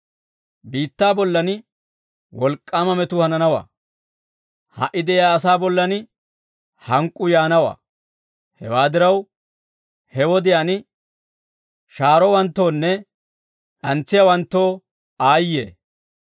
Biittaa bollan wolk'k'aama metuu hananawaa; ha"i de'iyaa asaa bollan hank'k'uu yaanawaa; hewaa diraw he wodiyaan shahaarowanttoonne d'antsiyawanttoo aayye!